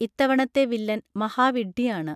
ഇത്തവണത്തെ വില്ലൻ മഹാവിഡ്ഢിയാണ്